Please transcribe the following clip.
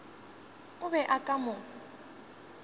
o be o ka mo